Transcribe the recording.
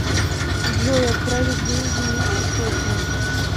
джой отправить деньги мите сотню